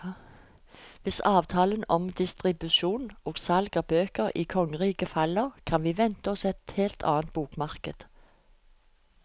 Hvis avtalen om distribusjon og salg av bøker i kongeriket faller, kan vi vente oss et helt annet bokmarked.